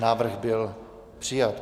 Návrh byl přijat.